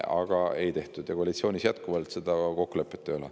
Aga seda ei tehtud ja koalitsioonis jätkuvalt seda kokkulepet ei ole.